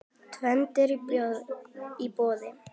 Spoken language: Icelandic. Tvennt í boði.